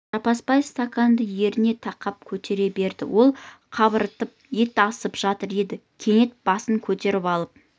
жаппасбай стаканды ерніне тақап көтере берді ол қарбытып ет асап жатыр еді кенет басын көтеріп алып